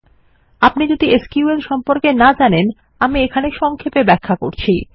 আপনি যদি এসকিউএল সম্পর্কে না জানেন আমি এখানে সংক্ষেপে ব্যাখ্যা করছি